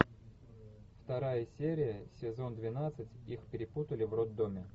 вторая серия сезон двенадцать их перепутали в роддоме